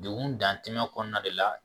Degun dan tɛ kɔnɔna de la